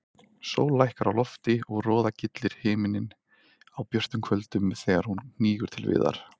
Sól lækkar á lofti og roðagyllir himininn á björtum kvöldum þegar hún hnígur til viðar.